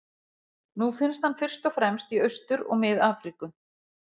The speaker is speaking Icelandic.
Nú finnst hann fyrst og fremst í Austur- og Mið-Afríku.